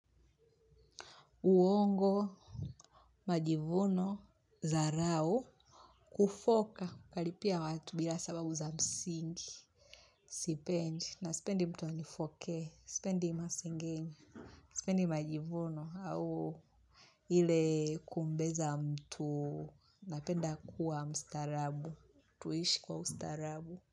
Uongo, majivuno, dharao, kufoka, kalipia watu bila sababu za msingi, sipendi, na sipendi mtu anifoke, sipendi masingenyo, sipendi majivuno au ili kumbeza mtu napenda kuwa mstarabu, tuishi kwa mstarabu.